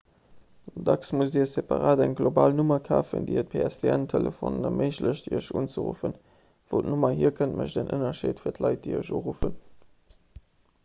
dacks musst dir separat eng global nummer kafen déi et pstn-telefonen erméiglecht iech unzeruffen wou d'nummer hier kënnt mécht en ënnerscheed fir d'leit déi iech uruffen